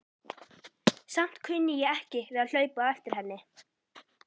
Samt kunni ég ekki við að hlaupa á eftir henni.